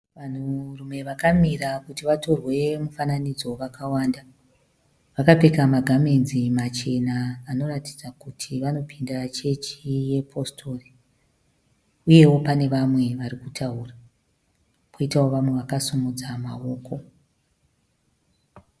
Vanhurume vakamira kuti vatorwe mufananidzo vakawanada, vakapfeka magamenzi machena vanoratidza kuti vanopinda chechi yechipositori uyewo pane vamwe varikutaura koitawo vamwe vakasimudza maoko.